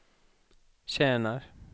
tjänar